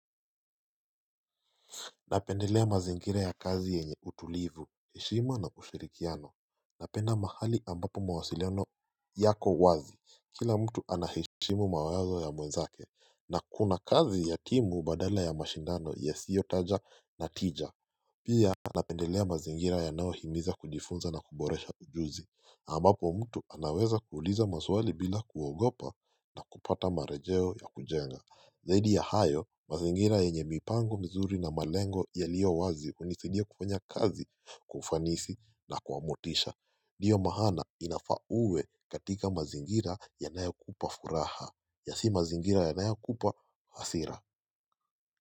Napendelea mazingira ya kazi yenye utulivu, heshima na kushirikiana. Napenda mahali ambapo mawasiliano yako wazi. Kila mtu anaheshimu mawezo ya mwenzake. Na kuna kazi ya timu badala ya mashindano ya sio taja na tija. Pia, napendelea mazingira ya nao himiza kujifunza na kuboresha ujuzi. Ambapo mtu anaweza kuuliza maswali bila kuogopa na kupata marejeo ya kujenga. Zaidi ya hayo, mazingira yenye mipango mizuri na malengo yaliowazi unizaidia kufanya kazi, kwa ufanisi na kwa motisha. Ndio maana inafaa uwe katika mazingira yanayokupa furaha. Na si mazingira yanayokupa hasira.